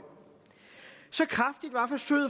så kraftigt var forsøget